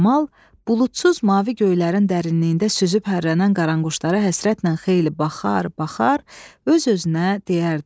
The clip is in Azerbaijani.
Kamal buludsuz mavi göylərin dərinliyində süzüb hərlənən qaranquşlara həsrətlə xeyli baxar, baxar öz-özünə deyərdi.